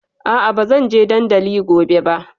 A'a, ba zan je dandali gobe ba.